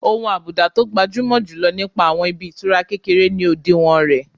Ohun àbùdá tó gbajúmọ̀ jù lọ nípa àwọn ibi ìtura kékeré ni òdiwọ̀n rẹ̀